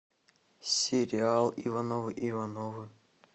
сериал ивановы ивановы